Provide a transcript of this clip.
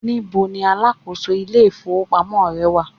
níbo ní alákóso ilé ifowópamọ́ rẹ wà